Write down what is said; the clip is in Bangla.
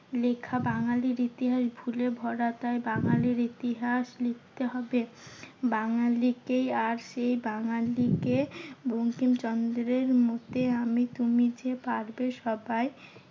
লেখা বাঙালির ইতিহাস ভুলে ভরা। তাই বাঙালির ইতিহাস লিখতে হবে বাঙালিকেই। আর সেই বাঙালিকে বঙ্কিম চন্দ্রের মতে, আমি তুমি যে পারবে সবাই